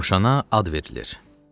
Cövşana ad verilir.